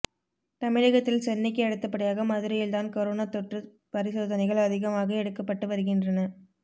தமிழகத்தில் சென்னைக்கு அடுத்தபடியாக மதுரையில்தான் கரோனா தொற்று பரிசோதனைகள் அதிகமாக எடுக்கப்பட்டு வருகின்றன